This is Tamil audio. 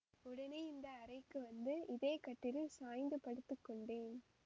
உடனே இந்த அறைக்கு வந்து இதே கட்டிலில் சாய்ந்து படுத்து கொண்டேன்